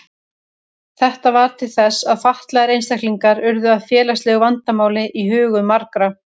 Þetta varð til þess að fatlaðir einstaklingar urðu að félagslegu vandamáli í hugum margra.